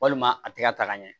Walima a tɛ ka ta ka ɲɛ